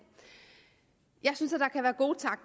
jeg synes